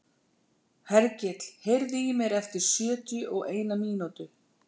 Hergill, heyrðu í mér eftir sjötíu og eina mínútur.